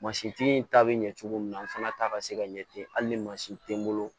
Mansintigi ta bɛ ɲɛ cogo min na an fana ta ka se ka ɲɛ ten hali ni mansin tɛ n bolo